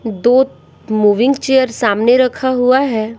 दो moving chair सामने रखा हुआ है।